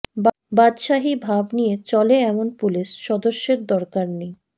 বাদশাহী ভাব নিয়ে চলে এমন পুলিশ সদস্যের দরকার নেই